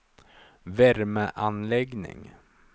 värmeanläggning